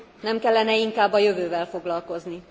Nem kellene inkább a jövővel foglalkozni?